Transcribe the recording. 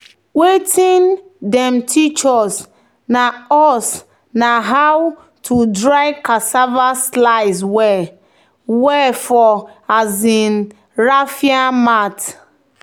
"wetin dem teach us na us na how to dry cassava slice well-well for um raffia mat."